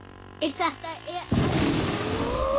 Er þetta erfið keppni?